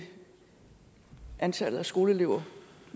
antallet af skoleelever